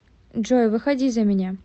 джой выходи за меня